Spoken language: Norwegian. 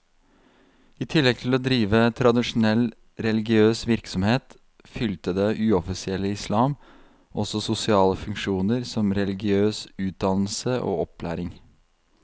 I tillegg til å drive tradisjonell religiøs virksomhet, fylte det uoffisielle islam også sosiale funksjoner som religiøs utdannelse og opplæring.